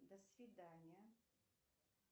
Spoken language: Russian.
до свидания